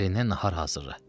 Ərinə nahar hazırla.